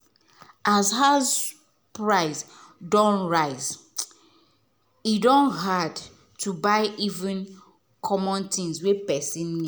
as house price don rise e don hard to buy even the common things wey person need.